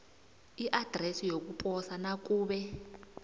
iadresi yokuposa nakube